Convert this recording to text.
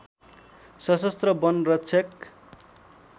सशस्त्र वन रक्षक